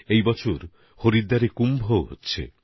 এবার হরিদ্বারে কুম্ভও হতে চলেছে